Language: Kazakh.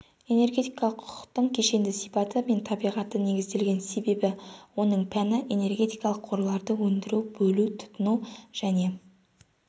энергетикалық құқықтың кешенді сипаты мен табиғаты негізделген себебі оның пәні энергетикалық қорларды өндіру бөлу тұтыну және